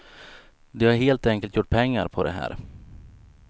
De har helt enkelt gjort pengar på det här.